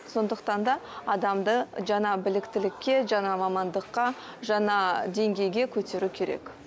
сондықтан да адамды жаңа біліктілікке жаңа мамандыққа жаңа деңгейге көтеру керек